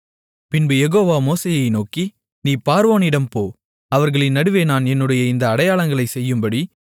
பின்பு யெகோவா மோசேயை நோக்கி நீ பார்வோனிடம் போ அவர்களின் நடுவே நான் என்னுடைய இந்த அடையாளங்களைச் செய்யும்படி